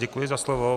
Děkuji za slovo.